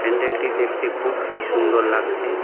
প্যান্ডেলটি দেখতে খুফই সুন্দর লাগছে।